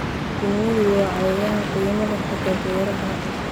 Shinnidu waa cayayaan qiimo leh xagga beeraha.